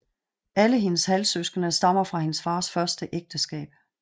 Alle hendes halvsøskende stammer fra hendes fars første ægteskab